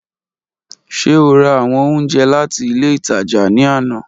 Ṣe o ra awọn ounjẹ lati ile itaja ni ana?